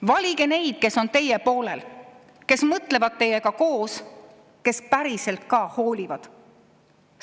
Valige neid, kes on teie poolel, kes mõtlevad teiega koos, kes päriselt ka hoolivad!